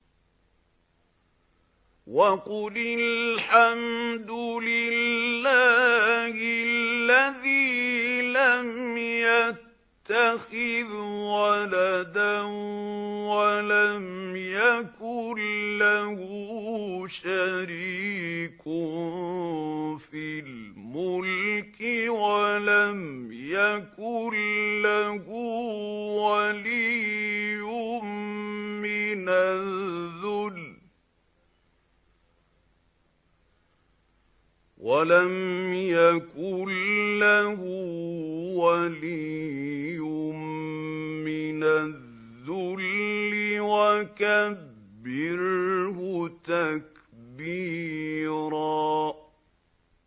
وَقُلِ الْحَمْدُ لِلَّهِ الَّذِي لَمْ يَتَّخِذْ وَلَدًا وَلَمْ يَكُن لَّهُ شَرِيكٌ فِي الْمُلْكِ وَلَمْ يَكُن لَّهُ وَلِيٌّ مِّنَ الذُّلِّ ۖ وَكَبِّرْهُ تَكْبِيرًا